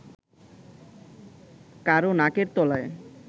কারও নাকের তলায়